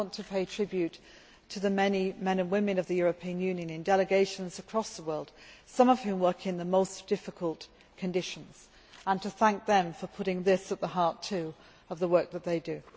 I want to pay tribute to the many men and women of the European Union in delegations across the world, some of whom work in the most difficult conditions, and to thank them for putting this issue at the heart of the work that they do.